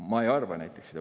Mina näiteks ei arva seda.